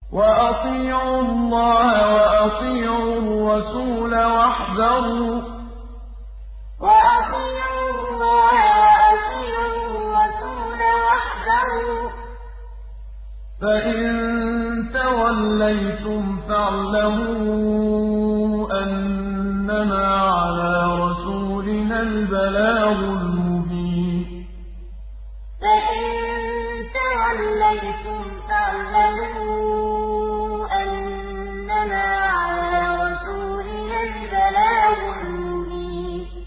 وَأَطِيعُوا اللَّهَ وَأَطِيعُوا الرَّسُولَ وَاحْذَرُوا ۚ فَإِن تَوَلَّيْتُمْ فَاعْلَمُوا أَنَّمَا عَلَىٰ رَسُولِنَا الْبَلَاغُ الْمُبِينُ وَأَطِيعُوا اللَّهَ وَأَطِيعُوا الرَّسُولَ وَاحْذَرُوا ۚ فَإِن تَوَلَّيْتُمْ فَاعْلَمُوا أَنَّمَا عَلَىٰ رَسُولِنَا الْبَلَاغُ الْمُبِينُ